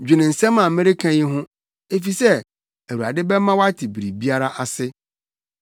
Dwene nsɛm a mereka yi ho, efisɛ Awurade bɛma woate biribiara ase.